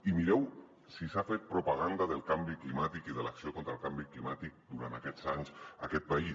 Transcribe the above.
i mireu si s’ha fet propaganda del canvi climàtic i de l’acció contra el canvi climàtic durant aquests anys en aquest país